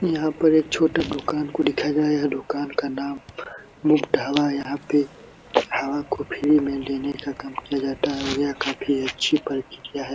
यहाँ पर एक छोटा दुकान को दिखाया जा है दुकान का नाम मुफ्त हवा। यहाँ पे हवा को फ्री मे लेने का काम किया जाता है ये काफी अच्छी प्रक्रिया है।